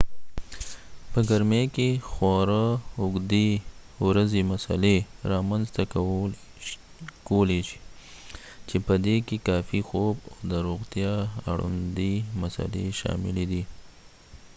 په ګرمۍ کې خورا اوږدې ورځې مسلې رامنځته کولی چې په دې کې کافي خوب او د روغتیا اړوندې مسلې شاملي دي